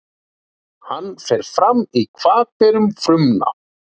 Hann fer fram í hvatberum frumna.